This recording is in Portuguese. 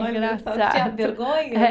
tinha vergonha?